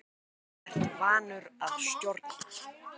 Þú ert vanur að stjórna.